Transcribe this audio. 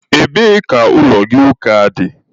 Ebee ka ụlọ gị ụka dị?